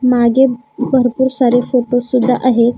मागे भरपूर सारे फोटो सुद्धा आहेत.